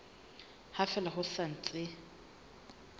ha fela ho sa ntse